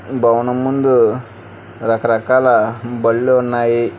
భవనం ముందు రకరకాల బళ్ళు ఉన్నాయి.